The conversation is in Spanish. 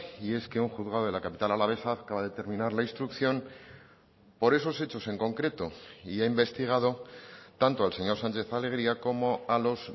y es que un juzgado de la capital alavesa acaba de terminar la instrucción por esos hechos en concreto y ha investigado tanto al señor sánchez alegría como a los